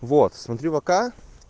вот смотри вк